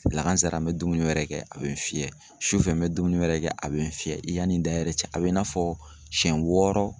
Lakazara n bɛ dumuni wɛrɛ kɛ a bɛ n fiyɛ, sufɛ n bɛ dumuni wɛrɛ kɛ a bɛ n fiyɛ, i yanni da cɛ a bɛ i n'a fɔ siɲɛ wɔɔrɔ.